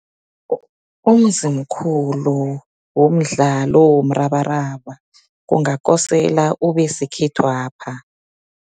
Umzimkhulu womdlalo womrabaraba, kungakosela ube sekhethwapha.